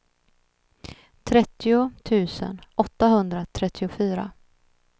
trettio tusen åttahundratrettiofyra